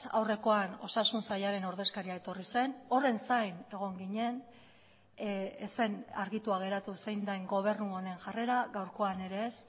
aurrekoan osasun sailaren ordezkaria etorri zen horren zain egon ginen ez zen argitua geratu zein den gobernu honen jarrera gaurkoan ere ez